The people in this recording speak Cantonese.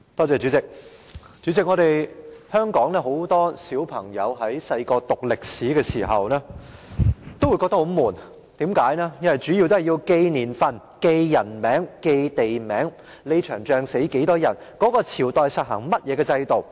主席，香港很多朋友小時候讀歷史，多數感到十分沉悶，因為需要記住年份、人名、地名，某場戰役中多少人死亡，以及某個朝代實行甚麼制度等。